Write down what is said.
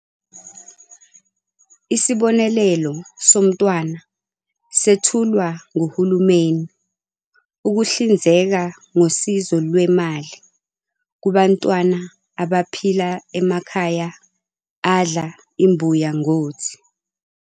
Isibonelelo somntwana sethulwa nguhulumeni ukuhlinzeka ngosizo lwemali kubantwana abaphila emakhaya adla imbuya ngothi.